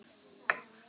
Á sama tíma er messa.